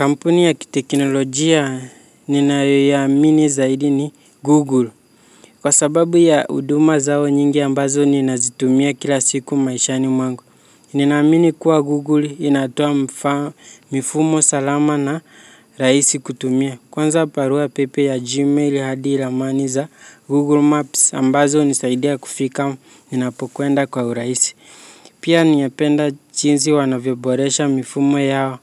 Kampuni ya kiteknolojia ninayo iamini zaidi ni Google. Kwa sababu ya huduma zao nyingi ambazo ninazitumia kila siku maishani mwangu. Ninamini kuwa Google inatoa mifumo salama na rahisi kutumia. Kwanza barua pepe ya Gmail hadi ramani za Google Maps ambazo hunisaidia kufika ninapokwenda kwa urahisi. Pia ninapenda jinsi wanavyoboresha mifumo yao